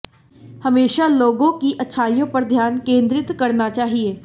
हमेशा लोगों की अच्छाइयों पर ध्यान केंद्रित करना चाहिए